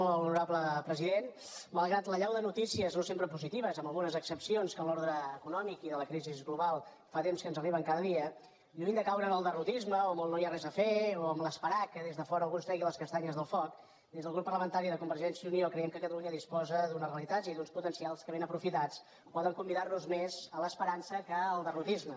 molt honorable president malgrat l’allau de noticies no sempre positives amb algunes excepcions que en l’ordre econòmic i de la crisi global fa temps que ens arriben cada dia lluny de caure en el derrotisme o en el no hi ha res a fer o a esperar que des de fora algú ens tregui les castanyes del foc des del grup parlamentari de convergència i unió creiem que catalunya disposa d’unes realitats i d’uns potencials que ben aprofitats poden convidar nos més a l’esperança que al derrotisme